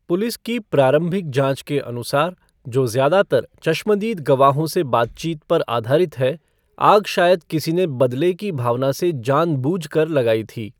Police की प्रारंभिक जांच के अनुसार, जो ज़्यादा तर चश्मदीद गवाहों से बातचीत पर आधारित है, आग शायद किसी ने बदले की भावना से जान बूझकर लगाई थी।